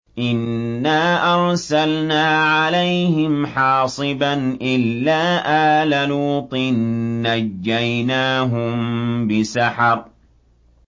إِنَّا أَرْسَلْنَا عَلَيْهِمْ حَاصِبًا إِلَّا آلَ لُوطٍ ۖ نَّجَّيْنَاهُم بِسَحَرٍ